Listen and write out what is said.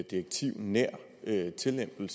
direktivnær tillempning